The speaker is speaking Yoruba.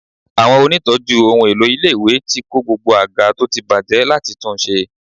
Àwọn onítọ̀ọ́jú ohun èlò ilé-ìwé ti kó gbogbo àga tó ti bàjẹ́ láti tunṣe.